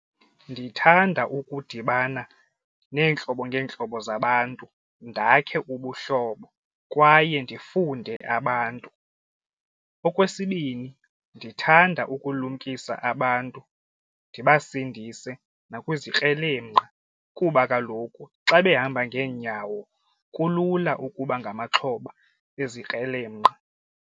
Ndithanda ukudibana neentlobo ngeentlobo zabantu ndakhe ubuhlobo kwaye ndifunde abantu. Okwesibini, ndithanda ukulumkisa abantu ndibasindise nakwizikrelemnqa kuba kaloku xa behamba ngeenyawo kulula ukuba ngamaxhoba ezikrelemnqa.